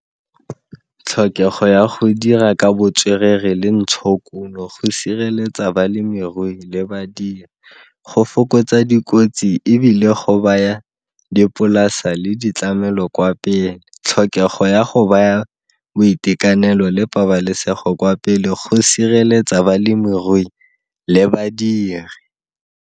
Tlhokego ya go dira ka botswerere le ntshokuno go sireletsa balemirui le badiri, go fokotsa dikotsi ebile go baya dipolasa le ditlamelo kwa pele. Tlhokego ya go baya boitekanelo le pabalesego kwa pele go sireletsa balemirui le badiri.